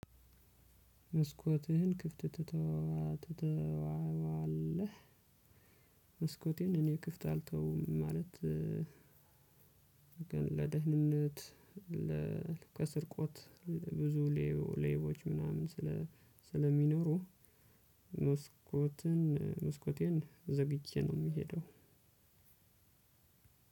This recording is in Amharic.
መስኮትህን ክፍት ትተወዋለህ? መስኮቴን እኔ ክፍት አልተውም ማለት። ለደህንነት ለስርቆት ብዙ ሌቦች ምናምን ስለ ስለሚኖሩ መስኮትን መስኮቴን ዘግቼ ነው። የምሄደው